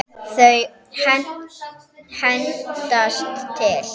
Þau hendast til.